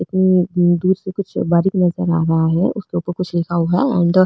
इतनी दूर से कुछ बारीक़ नजर रहा है उसके उपर कुछ लिखा हुआ है एंड --